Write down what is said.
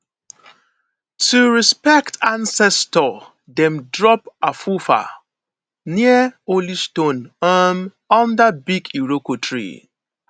to respect ancestors dem dey drop afufa near holy stones um under big iroko tree